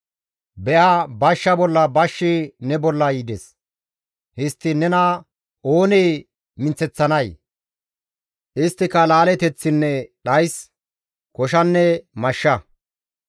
Be7a bashsha bolla bashshi ne bolla yides; histtiin nena oonee minththeththanay? isttika laaleteththinne dhays, koshanne mashsha.